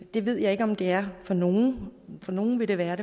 det ved jeg ikke om det er for nogen for nogle vil det være